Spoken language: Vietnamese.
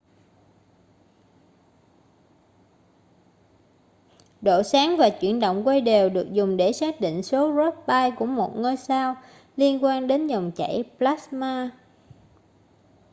độ sáng và chuyển động quay đều được dùng để xác định số rossby của một ngôi sao liên quan đến dòng chảy plasma